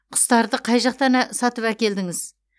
құстарды қай жақтан сатып әкелдіңіз